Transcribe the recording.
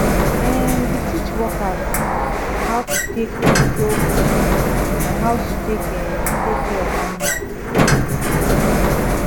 um we teach workers how to take control machine and how to take um take care of animal um